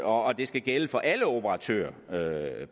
og det skal gælde for alle operatører